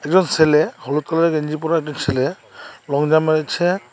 দুটো ছেলে হলুদ কালারের গেঞ্জি পরা একটি ছেলে লং জাম্প মেরেছে।